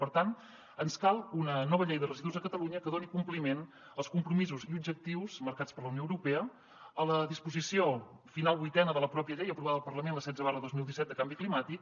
per tant ens cal una nova llei de residus a catalunya que doni compliment als compromisos i objectius marcats per la unió europea a la disposició final vuitena de la mateixa llei aprovada al parlament la setze dos mil disset de canvi climàtic